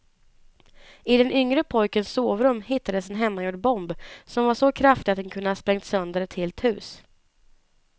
I den yngre pojkens sovrum hittades en hemmagjord bomb som var så kraftig att den kunde ha sprängt sönder ett helt hus.